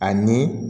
Ani